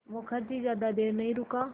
मुखर्जी ज़्यादा देर नहीं रुका